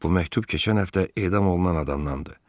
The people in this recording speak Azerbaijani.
Bu məktub keçən həftə edam olunan adamdandır.